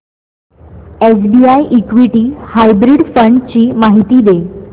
SBI equity hybrid fund ची माहिती दे